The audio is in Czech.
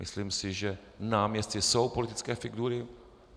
Myslím si, že náměstci jsou politické figury.